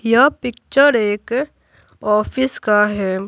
यह पिक्चर एक ऑफिस का है।